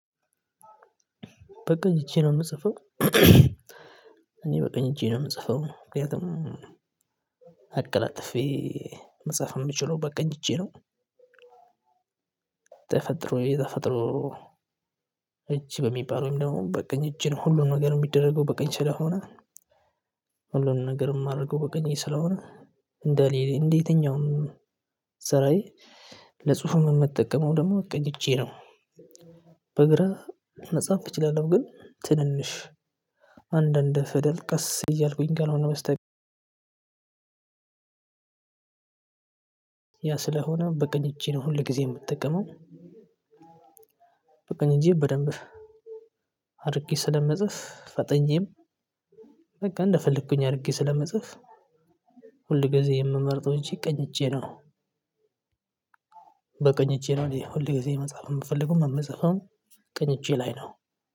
በቀኝ እጄ ነው የምጽፈው። እኔ በቀኝ እጄ ነው የምጽፈው ምክንያቱም አቀላጥፌ መጽሐፍ የምችለው በቀኝ እጄ ነው። ተፈጥሮ የተፈጥሮ እጅ በሚባል ወይም ደግሞ በቀኝ እጅ ሁሉም ነገር የሚደረገው በቀኝ ስለሆነ። ሁሉንም ነገር የማደርገው በቀኝ ስለሆነ እንደ ሌሊት እንደ የትኛውም ስራዬ ለጽሁፍ የምጠቀመው ደግሞ ቀኝ እጄ ነው። በግራ መጻፍ እችላለሁ ግን ትንንሽ አንድ አንድ ፊደል ቀስ እያልኩኝ ካልሆነ በስተቀር። ያ ስለሆነ በቀኝ እጅ ነው ሁል ጊዜ የምጠቀመው። በቀኝ እጄ በደንብ አድርጌ ስለምጽፍ ፈጥኜም በቃ እንደፈለኩኝ አድርጌ ስለመጽፍ። ሁል ጊዜ የምመርጠው እጄ ቀኝ እጄ ነው። እኔ ሁሌ ጊዜ መጻፍ የምፈልገው የምጽፈውም ቀኝ እጄ ላይ ነው።